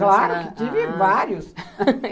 Claro, tive vários.